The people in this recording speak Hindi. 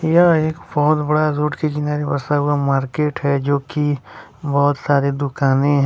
यह एक बहोत बड़ा रोड के किनारे बसा हुआ मार्केट है जो की बहोत सारे दुकाने हैं।